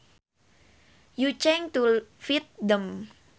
you change to fit them